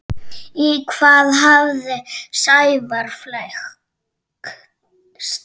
Í hvað hafði Sævar flækst?